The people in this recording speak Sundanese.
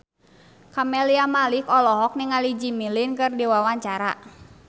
Camelia Malik olohok ningali Jimmy Lin keur diwawancara